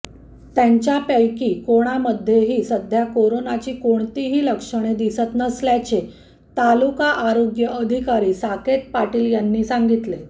त्यांच्यापैकी कोणामध्येही सध्या करोनाची कोणतीही लक्षणे दिसत नसल्याचे तालुका आरोग्य अधिकारी साकेत पाटील यांनी सांगितले